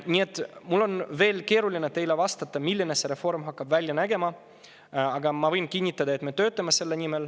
Nii et mul on praegu veel keeruline teile vastata, milline hakkab see reform välja nägema, aga ma võin kinnitada, et me töötame selle nimel.